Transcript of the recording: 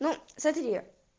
ну смотри